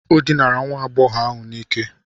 O dinara nwa agbọghọ ahụ n'ike.